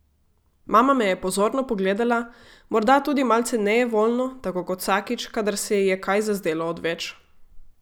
Mama me je pozorno pogledala, morda tudi malce nejevoljno, tako kot vsakič, kadar se ji je kaj zazdelo odveč.